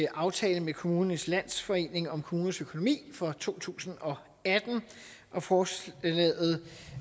aftale med kommunernes landsforening om kommunernes økonomi for to tusind og atten og forslaget